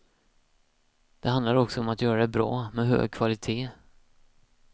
Det handlar också om att göra det bra, med hög kvalité.